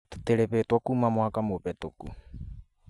Tũtirĩhĩtwo kuuma mwaka mũhetũku